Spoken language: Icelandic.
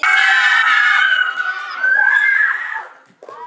Við afi vorum góðir vinir.